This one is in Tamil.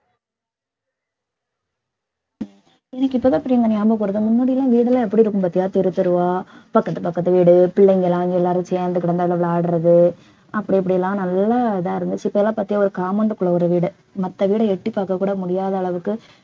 எனக்கு இப்பதான் பிரியங்கா ஞாபகம் வருது முன்னாடிலாம் வீடெல்லாம் எப்படி இருக்கும் பாத்தியா தெரு தெருவா பக்கத்து பக்கத்து வீடு பிள்ளைங்கலாம் எல்லாரும் சேர்ந்து கிடந்து எல்லாம் விளையாடுறது அப்படி இப்படிலாம் நல்ல இதா இருந்துச்சு இப்பெல்லாம் பாத்தியா ஒரு compound க்குள்ள ஒரு வீடு மத்த வீட எட்டிப்பாக்க கூட முடியாத அளவுக்கு